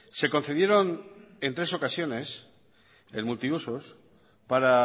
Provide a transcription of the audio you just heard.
se concedieron en tres ocasiones el multiusos para